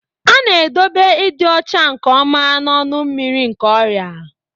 A na-edobe ịdị ọcha nke ọma n'ọnụ mmiri nke ọrịa.